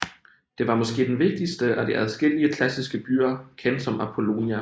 Det var måske den vigtigste af de adskillige klassiske byer kendt som Apollonia